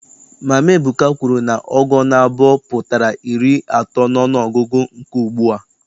Mama Ebuka kwuru na ọgụ naabọ pụtara iri atọ n'ọnụọgụgụ nke ugbua.